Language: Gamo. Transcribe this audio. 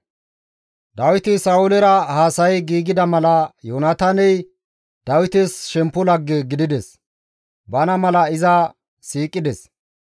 Dawiti Sa7oolera haasayi giigida mala Yoonataaney Dawites shemppo lagge gidides; bana mala iza siiqides.